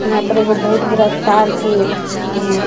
इहां पर एगो बहुत बरा तार के --